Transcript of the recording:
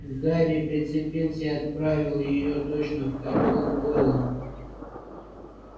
гарри прицепился и отправил её точно в котёл гойла